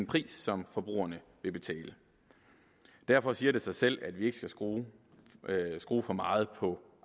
pris som forbrugerne vil betale derfor siger det sig selv at vi ikke skal skrue skrue for meget på